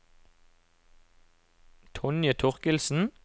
Tonje Thorkildsen